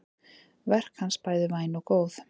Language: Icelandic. Verk hans bæði væn og góð.